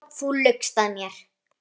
Já, þú laugst að mér.